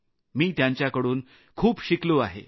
मी त्यांच्याकडून खूप काही शिकलो आहे